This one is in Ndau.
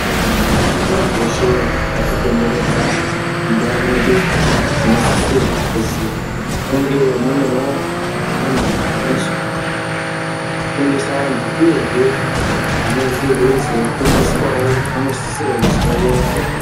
Zvikora zveshe zvakatikomberedza mundau mwedu zvinosisirwa kuzi munge munevo antu ano zofundisa antu, uyehe vanenge veizo fundiswavo vanosisirwa kuzi vayayaye.